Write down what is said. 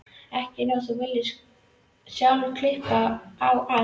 Ekki nema þú viljir sjálf klippa á allt.